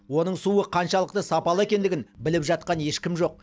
оның суы қаншалықты сапалы екендігін біліп жатқан ешкім жоқ